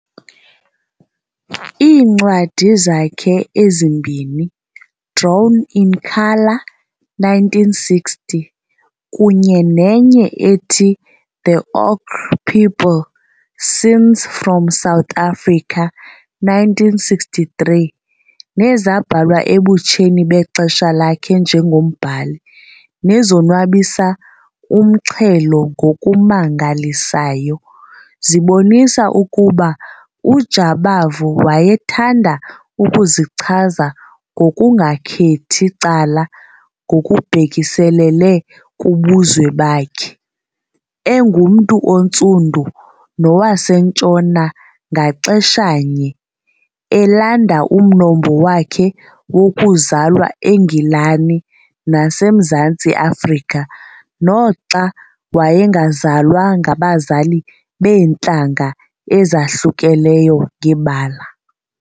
Iincwadi zakhe ezimbini, Drawn in Colour, 1960, kunye nenye ethi The Ochre People- Scenes from South Africa, 1963, nezabhalwa ebutsheni bexesha lakhe njengombhali, nezonwabisa umxhelo ngokumangalisayo, zibonisa ukuba uJabavu wayethanda ukuzichaza ngokungakhethi cala ngokubhekiselele kubuzwe bakhe- engumntu oNtsundu nowaseNtshona ngaxesha nye, elanda umnombo wakhe wokuzalwa eNgilani naseMzantsi Afrika noxa wayengazalwa ngabazali beentlanga ezahlukileyo ngebala.